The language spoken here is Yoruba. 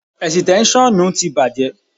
Ẹ̀sìtẹ́ṣọ́nù ti bàjẹ́.